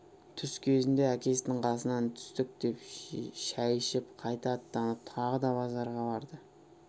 түс кезінде әкесінің қасынан түстік жеп шай ішіп қайта аттанып тағы да базарға барды